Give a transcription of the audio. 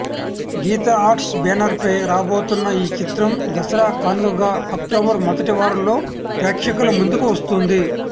గీత arts banner ఫై రాబోతున్న ఈ చిత్రం దసరా కానుకగా అక్టోబర్ మొదటివారంలో ప్రేక్షకుల ముందుకు వస్తుంది